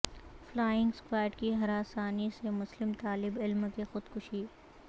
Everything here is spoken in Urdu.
فلائنگ اسکواڈ کی ہراسانی سے مسلم طالب علم کی خودکشی